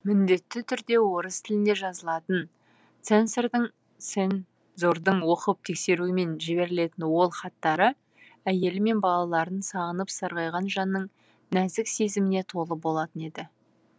міндетті түрде орыс тілінде жазылатын цензордың оқып тексеруімен жіберілетін ол хаттары әйелі мен балаларын сағынып сарғайған жанның нәзік сезіміне толы болатын еді